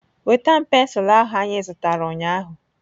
Nweta m pensụl ahụ anyị zụtara ụnyaahụ!